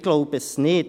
– Ich glaube nicht.